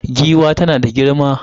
Giwa tana da girma.